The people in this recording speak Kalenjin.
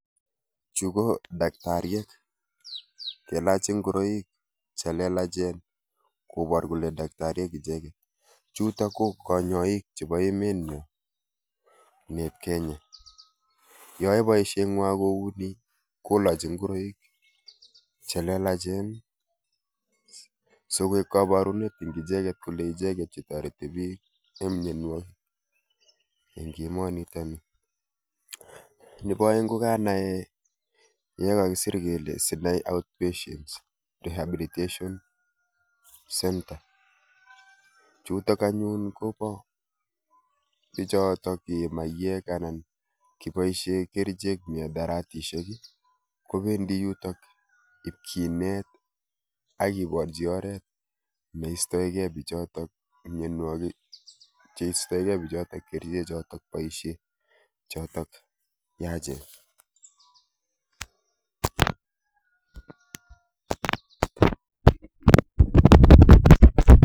Chu ko daktariek yeilachi ngoroik che lelachen koboor kole daktariek icheek. Chuutok ko kanyaik chebo emet nyu neep kenya. Yeaye boisieng'wai kouni kolachi ngoroik chelelachen sigoek kabarunet ing' icheeget kole icheget chetorati biik eng' mnyanwek ing'emo niitokni. Nebo aeng' kokanae ye kagisir kele sinai outpatient rehabilitation centre chutok anyun kobo biichootok ee maiyek anan kiboisie kerichek mihadaratisiek kobendi yuutok ipkinet akiborchi oret neistoigei biichootok mnyanwogik cheistoigei biichootok kerichek chootok boisie chootok yaachen